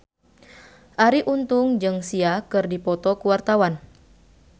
Arie Untung jeung Sia keur dipoto ku wartawan